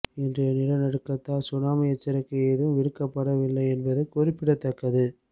இன்றைய நிலநடுக்கத்தால் சுனாமி எச்சரிக்கை எதுவும் விடுக்கப விடுக்கப்படவில்லை என்பதும் குறிப்பிடத்தக்கது